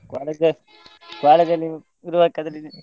college ಅಲ್ಲಿ .